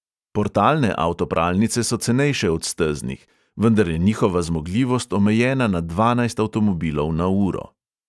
Portalne avtopralnice so cenejše od steznih, vendar je njihova zmogljivost omejena na dvanajst avtomobilov na uro.